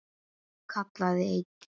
kallaði einn.